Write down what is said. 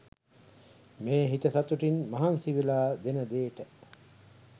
මේ හිත සතුටින් මහන්සි වෙලා දෙන දේට